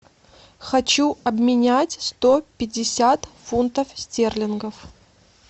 хочу обменять сто пятьдесят фунтов стерлингов